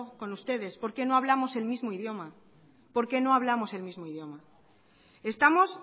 con ustedes porque no hablamos el mismo idioma estamos